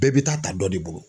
Bɛɛ bi taa ta dɔ de bolo.